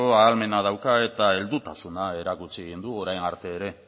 ahalmena dauka eta heldutasuna erakutsi egin du orain arte ere